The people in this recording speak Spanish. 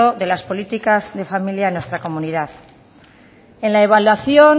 de las políticas de familia en nuestra comunidad en la evaluación